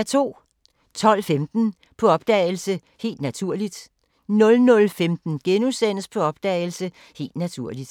12:15: På opdagelse – Helt naturligt 00:15: På opdagelse – Helt naturligt *